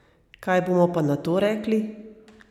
Kaj bomo pa na to rekli?